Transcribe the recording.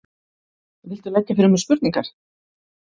Viltu leggja fyrir mig spurningar?